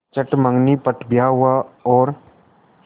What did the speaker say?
चट मँगनी पट ब्याह हुआ और